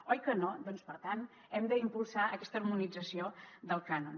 oi que no doncs per tant hem d’impulsar aquesta harmonització del cànon